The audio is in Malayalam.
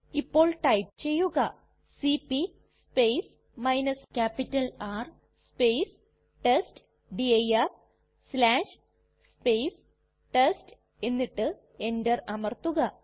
ഇപ്പോൾ ടൈപ്പ് ചെയ്യുക സിപി R ടെസ്റ്റ്ഡിർ ടെസ്റ്റ് എന്നിട്ട് എന്റർ അമർത്തുക